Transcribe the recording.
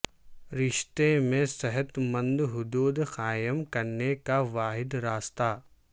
رشتے میں صحت مند حدود قائم کرنے کا واحد راستہ